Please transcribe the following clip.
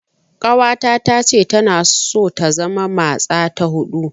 Ƙawata tace tana so ta zama matsa ta huɗu.